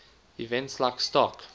events like stock